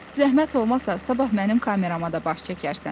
Zəhmət olmasa, sabah mənim kamerama da baş çəkərsən.